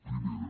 primera